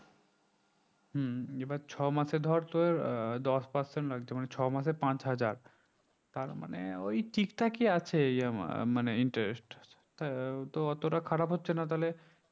হুম এবার ছমাসে ধরে তোর দশ person হয় তো মানে ছয়মাসে পাঁচ হাজার তার মানে ওই ঠিক ঠাকই আছে এর মানে interest হ্যাঁ ওতো অতোটা খারাপ হচ্ছে না তাহলে